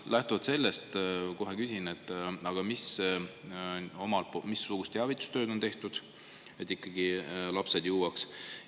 Lähtuvalt sellest kohe küsin: missugust teavitustööd on tehtud, et ikkagi lapsed jõuaksid?